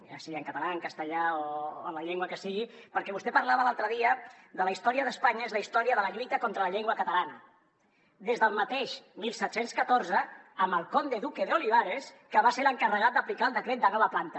ja sigui en català en castellà o en la llengua que sigui perquè vostè parlava l’altre dia de la història d’espanya és la història de la lluita contra la llengua catalana des del mateix diecisiete diez cuatro amb el conde duque olivares que va ser l’encarregat d’aplicar el decret de nova planta